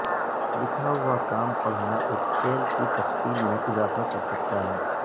لکھا ہوا کام پڑھنا ایک کھیل کی تفصیل میں اضافہ کر سکتا ہے